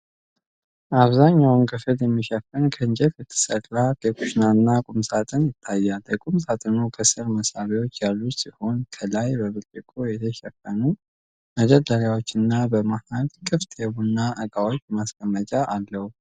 አብዛኛው ክፍሉን የሚሸፍን፣ ከእንጨት የተሰራ የኩሽና ቁም ሳጥን ይታያል። የቁም ሳጥኑ ከስር መሳቢያዎች ያሉት ሲሆን፣ ከላይ በብርጭቆ የተሸፈኑ መደርደሪያዎችና በመሃል ክፍት የቡና ዕቃዎች ማስቀመጫ አለው።